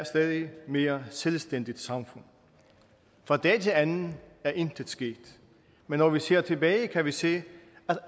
stadig mere selvstændigt samfund fra dag til anden er intet sket men når vi ser tilbage kan vi se